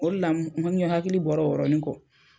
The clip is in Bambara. O de la n hakili bɔra o yɔrɔnin kɔ.